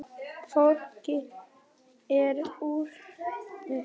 Fólki er órótt.